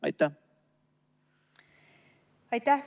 Aitäh!